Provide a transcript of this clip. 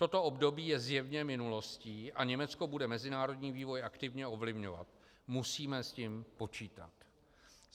Toto období je zjevně minulostí a Německo bude mezinárodní vývoj aktivně ovlivňovat. Musíme s tím počítat.